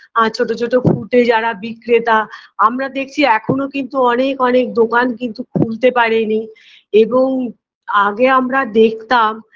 আর ছোটো ছোটো foot -এ যারা বিক্রেতা আমরা দেখছি এখোনো কিন্তু অনেক অনেক দোকান কিন্তু খুলতে পারেনি এবং আগে আমরা দেখতাম